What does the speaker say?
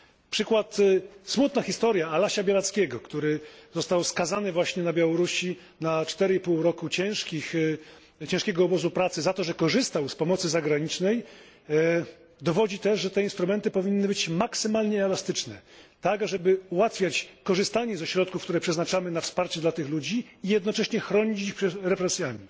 Przykład smutna historia Alasia Białackiego, który został skazany właśnie na Białorusi na 4,5 roku ciężkiego obozu pracy za to, że korzystał z pomocy zagranicznej dowodzi też, że te instrumenty powinny być maksymalnie elastyczne, tak żeby ułatwiać korzystanie ze środków, które przeznaczamy na wsparcie dla tych ludzi, i jednocześnie chronić ich przed represjami.